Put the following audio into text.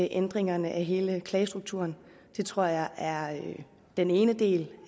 ændret hele klagestrukturen det tror jeg er den ene del